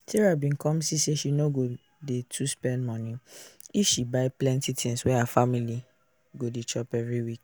sarah bin come see say she no go dey to spend money if she buy plenty tins wey her family go chop every week